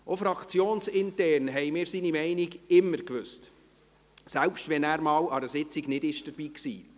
Auch fraktionsintern kannten wir seine Meinung immer, selbst wenn er einmal an einer Sitzung nicht dabei war.